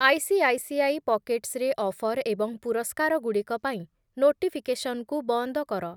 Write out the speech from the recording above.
ICICI pockets ରେ offer ଏବଂ ପୁରସ୍କାରଗୁଡ଼ିକ ପାଇଁ ନୋଟିଫିକେସନ୍‌କୁ ବନ୍ଦ କର ।